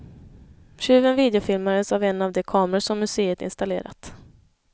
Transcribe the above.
Tjuven videofilmades av en av de kameror som museet installerat.